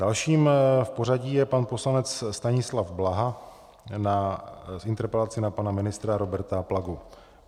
Dalším v pořadí je pan poslanec Stanislav Blaha s interpelací na pana ministra Roberta Plagu.